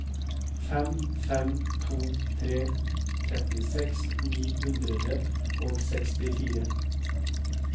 fem fem to tre trettiseks ni hundre og sekstifire